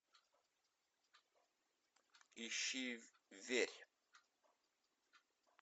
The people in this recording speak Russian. ищи верь